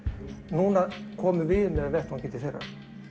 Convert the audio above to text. núna komu við með vettvanginn til þeirra